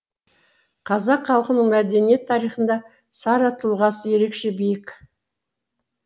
қазақ халқының мәдениет тарихында сара тұлғасы ерекше биік